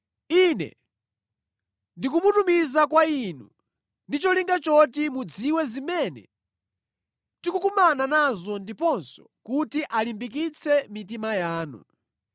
Ine ndikumutumiza kwa inu ndi cholinga choti mudziwe zimene tikukumana nazo ndiponso kuti alimbikitse mitima yanu.